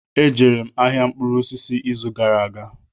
E jere m ahịa mkpụrụ osisi ịzụ gara aga.